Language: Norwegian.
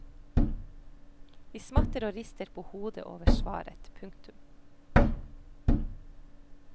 De smatter og rister på hodet over svaret. punktum